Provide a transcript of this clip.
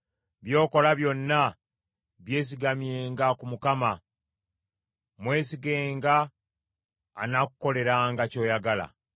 By’okola byonna byesigamyenga ku Mukama ; mwesigenga, anaakukoleranga ky’oyagala.